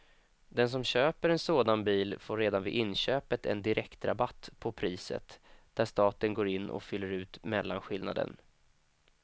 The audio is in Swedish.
Den som köper en sådan bil får redan vid inköpet en direkt rabatt på priset, där staten går in och fyller ut mellanskillnaden.